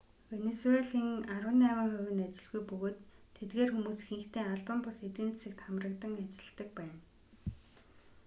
венисуелийн арван найман хувь нь ажилгүй бөгөөд тэдгээр хүмүүс ихэнхдээ албан бус эдийн засагт хамрагдан ажиллдаг байна